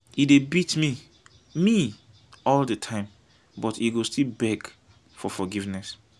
e dey beat me me all the time but he go still beg for forgiveness.